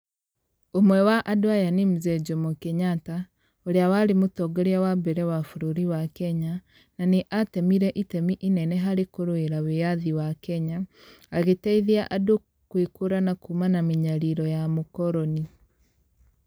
Ũmwe wa andũ aya nĩ mzee Jomo Kenyatta, urĩa warĩ mũtongoria wa mbere wa bũbũri wa Kenya, na nĩ atemire itemi inene harĩ kũrũĩra wĩathi wa Kenya, agĩteithia andũ kũĩkũrana kuuma na mĩnyariro ya mũkoroni.